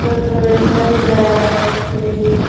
er pore cin bank bili.